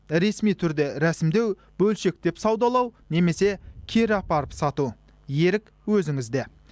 ресми түрде рәсімдеу бөлшектеп саудалау немесе кері апарып сату ерік өзіңізде